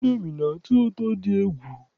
Indomi na-atọ ụtọ dị egwu